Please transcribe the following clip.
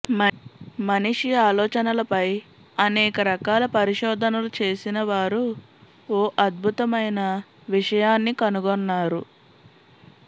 మనిషి ఆలోచనలపై అనేక రకాల పరిశోధనలు చేసిన వారు ఓ అద్భుతమైన విషయాన్నీ కనుగొన్నారు